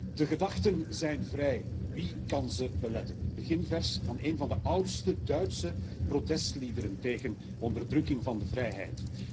Voorzitter, de gedachten zijn vrij. Wie kan ze beletten? Het beginvers van één van de oudste Duitse protestliederen tegen onderdrukking van de vrijheid.